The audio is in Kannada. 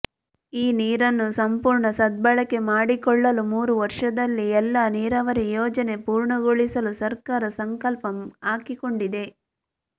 ಈ ನೀರನ್ನು ಸಂಪೂರ್ಣ ಸದ್ಭಳಕೆ ಮಾಡಿಕೊಳ್ಳಲು ಮೂರು ವರ್ಷದಲ್ಲಿ ಎಲ್ಲ ನೀರಾವರಿ ಯೋಜನೆ ಪೂರ್ಣಗೊಳಿಸಲು ಸರ್ಕಾರ ಸಂಕಲ್ಪ ಹಾಕಿಕೊಂಡಿದೆ